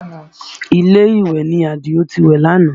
Ilé ìwẹ̀ ni Àdìó ti wẹ̀ lánàá